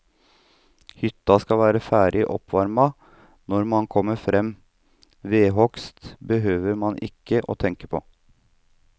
Hytta skal være ferdig oppvarmet når man kommer frem, vedhugst behøver man ikke å tenke på.